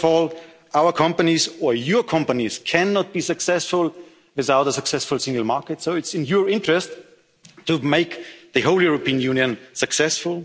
main arguments. First of all, our companies, or your companies, cannot be successful without a successful single market, so it's in your interest to make the whole European